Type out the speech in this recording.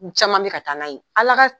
U caman min ka taa n'a ye ala ka